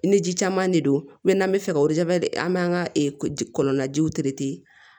Ni ji caman de don n'an bɛ fɛ ka an b'an ka kɔnɔna jiw